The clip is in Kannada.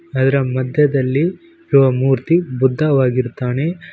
ಅದರ ಮಧ್ಯದಲ್ಲಿ ಇರುವ ಮೂರ್ತಿ ಬುದ್ಧವಾಗಿರುತ್ತಾನೆ.